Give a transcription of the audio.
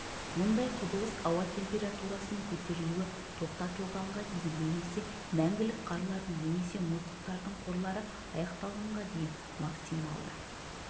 мұндай құбылыс ауа температурасының көтерілуі тоқтатылғанға дейін немесе мәңгілік қарлардың немесе мұздықтардың қорлары аяқталғанға дейін максималды